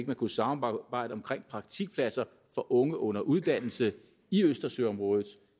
man kunne samarbejde om praktikpladser for unge under uddannelse i østersøområdet